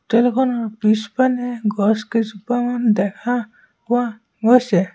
হোটেলখনৰ পিছপানে গছ কেইজোপামান দেখা পোৱা গৈছে।